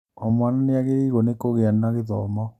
O mwana nĩagĩrĩirwo nĩ kũgĩa na gĩthomo